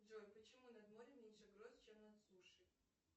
джой почему над морем меньше гроз чем над сушей